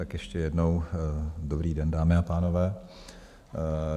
Tak ještě jednou dobrý den, dámy a pánové.